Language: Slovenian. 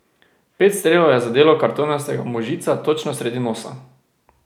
Pet strelov je zadelo kartonastega možica točno sredi nosa.